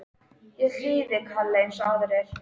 Ég hlýði kalli eins og aðrir.